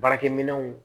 Baarakɛminɛnw